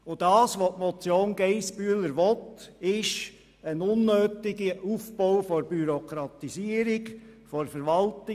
Das, was die Motion Geissbühler will, ist ein unnötiger Aufbau von Bürokratie für die Verwaltung.